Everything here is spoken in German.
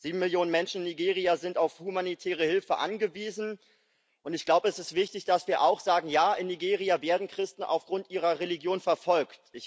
7 Millionen Menschen in Nigeria sind auf humanitäre Hilfe angewiesen, und ich glaube, es ist wichtig, dass wir auch sagen Ja, in Nigeria werden Christen aufgrund ihrer Religion verfolgt.